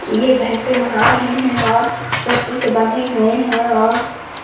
ये भैंसे नहा रहे है और रस्सी से बंधे हुए है और --